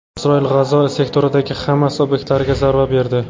Isroil G‘azo sektoridagi Hamas obyektlariga zarba berdi.